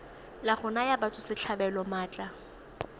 la go naya batswasetlhabelo maatla